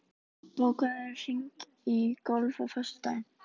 Jörfi, bókaðu hring í golf á föstudaginn.